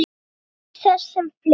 Ég naut þess sem fleiri.